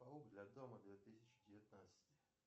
паук для дома две тысячи девятнадцать